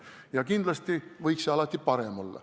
Jah, kindlasti võiks see alati parem olla.